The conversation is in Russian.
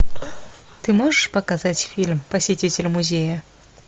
ты можешь показать фильм посетитель музея